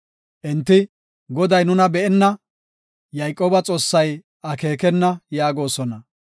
Enti, “Goday nuna be7enna; Yayqooba Xoossay akeekenna” yaagosona.